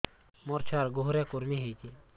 ମୋ ଛୁଆର୍ ଗୁହରେ କୁର୍ମି ହଉଚି